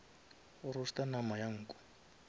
go roaster nama ya nku